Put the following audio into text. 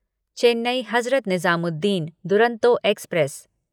Chennai Hazrat Nizamuddin Duronto express